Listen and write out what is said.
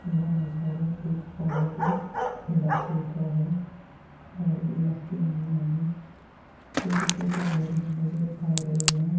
यह नज़ारा एक पहाड़ इलाका का है पहाड़ी इलाके में हमें छोटे-छोटे घर नज़र आ रहें हैं।